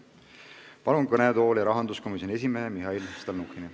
Palun kõnetooli rahanduskomisjoni esimehe Mihhail Stalnuhhini.